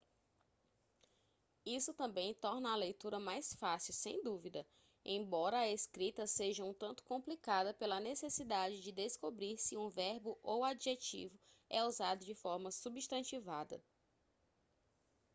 isso também torna a leitura mais fácil sem dúvida embora a escrita seja um tanto complicada pela necessidade de descobrir se um verbo ou adjetivo é usado de forma substantivada